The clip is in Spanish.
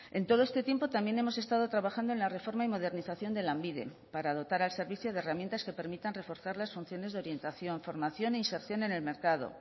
en todo este tiempo también hemos estado trabajando en la reforma y modernización de lanbide para dotar al servicio de herramientas que permitan reforzar las funciones de orientación formación e inserción en el mercado